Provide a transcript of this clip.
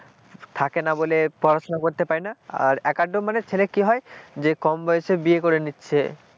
থাকে না বলে পড়াশোনা করতে পারি না আর একটা একটা মানে ছেলে কি হয় যে কম বয়সে বিয়ে করে নিচ্ছে,